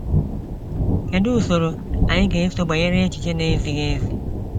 Kedụ usoro anyị ga eso gbanyere echiche n'ezighi ezi?